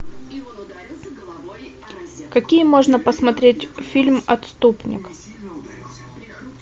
какие можно посмотреть фильм отступник